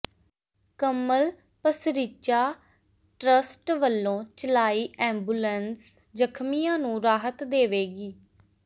ਕਮਲ Pasricha trust ਵੱਲੋਂ ਚਲਾਈ ambulance ਜ਼ਖਮੀਆਂ ਨੂੰ ਰਾਹਤ ਦੇਵੇਗੀ